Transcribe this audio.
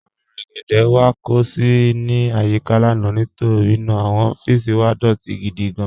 Awọn rẹ́gédé wà kó sì ní ayíkà lána nítorí ná àwọn ọffísì wà dọtì gídí gán.